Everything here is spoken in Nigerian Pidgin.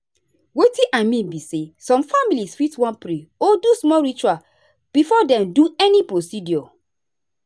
wetin i mean be say some families fit wan pray or do small ritual before dem do any procedure.